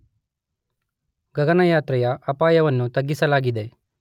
ಗಗನಯಾತ್ರೆಯ ಅಪಾಯವನ್ನು ತಗ್ಗಿಸಲಾಗಿದೆ.